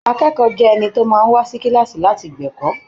Akẹ́kọ̀ọ́ jẹ́ ẹni tó máa ń wá sí kíláàsì láti gbẹ̀kọ́.